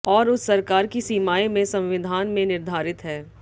और उस सरकार की सीमाएं में संविधान में निर्धारित है